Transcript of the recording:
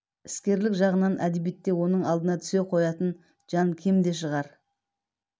іскерлік жағынан әдебиетте оның алдына түсе қоятын жан кем де шығар